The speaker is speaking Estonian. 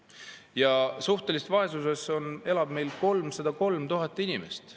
Ja suhtelises vaesuses elab meil 303 000 inimest.